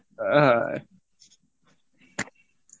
আ হা